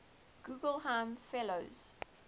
guggenheim fellows